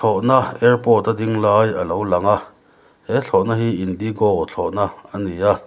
thlawhna airport a ding lai alo lang a he thlawh na hi indigo thlawhna ani a.